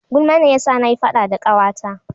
Gulma ne ya sa na yi faɗa da Ƙawata